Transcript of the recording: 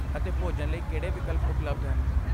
ਅਤੇ ਭੋਜਨ ਲਈ ਕਿਹੜੇ ਵਿਕਲਪ ਉਪਲਬਧ ਹਨ?